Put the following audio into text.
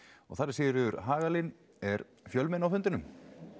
og þar er Sigríður Hagalín er fjölmenni á fundinum